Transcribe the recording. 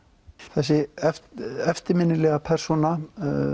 þessi eftirminnilega persóna